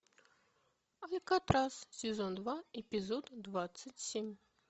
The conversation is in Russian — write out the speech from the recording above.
алькатрас сезон два эпизод двадцать семь